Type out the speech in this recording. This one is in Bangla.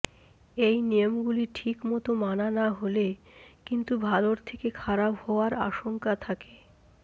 এই নিয়মগুলি ঠিক মতো মানা না হলে কিন্তু ভালর থেকে খারাপ হওয়ার আশঙ্কা থাকে